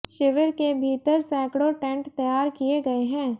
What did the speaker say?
शिविर के भीतर सैकड़ों टेंट तैयार किए गए हैं